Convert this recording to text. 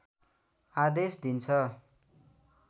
आदेश दिन्छ